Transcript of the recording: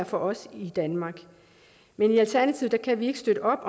for os i danmark men i alternativet kan vi ikke støtte